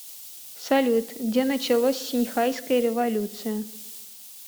салют где началось синьхайская революция